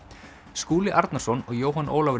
Skúli Arnarson og Jóhann Ólafur